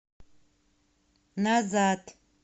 назад